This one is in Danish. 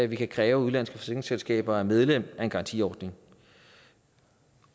vi kan kræve at udenlandske forsikringsselskaber er medlem af en garantiordning